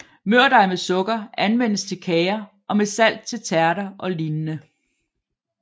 Mørdej med sukker anvendes til kager og med salt til tærter og lignende